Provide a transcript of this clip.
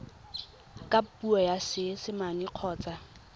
ka puo ya seesimane kgotsa